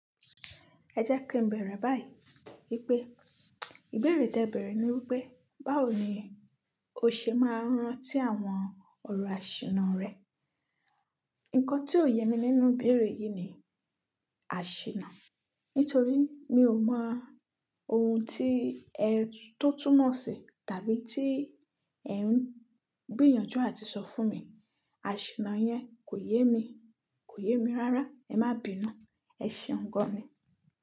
Ẹ jẹ́ kí n bẹ̀rẹ̀ báyìí. Pé ìbéèrè tí ẹ bẹ̀rẹ̀ ni wípé, báwo ni o ṣe máa ń rán tí àwọn ọ̀rọ̀ àṣìna rẹ? Nǹkan tí ò yẹ mi nínú ìbéèrè yìí ni àṣìna. Nítorí mi ò mọ ohun tí ẹ tó túmọ̀ sí tàbí tí ẹ̀ ń gbìyànjú àti sọ fún mi. Àṣìna yẹn kò yé mi, kò yé mi rárá. Ẹ má bínú, ẹ ṣe ǹkan ni.